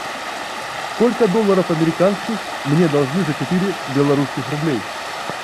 сколько долларов американских мне должны за четыре белорусских рублей